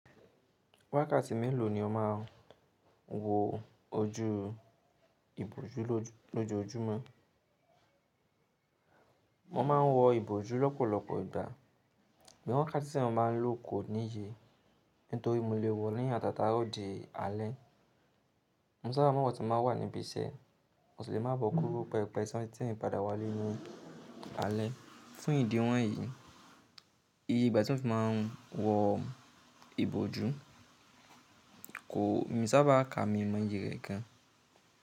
Wákàtí mélòó ni o máa ń wo ojú ìbòjú lójoójúmọ́? Mo ma ń wo ìbòjú lọ́pọ̀lọpọ̀ ìgbà, bí i wákàtí tí èèyàn máa ń lò kò níye, nítorí mo lè wo ó ní atata àrọ̀ dí alẹ́. Mo sábà máa ń wo tí n bá wà níbi iṣẹ́, mo sì lè máa bọ́ kúrò pẹpẹ ìsọmọtín padà wá lé ní alẹ́. Fún ìdí wọ̀nyí, iye ìgbà tí mo fi máa ń wo ìbòjú kò, mi sábà ka mi mọ iye rẹ̀ gan.